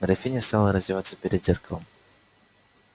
графиня стала раздеваться перед зеркалом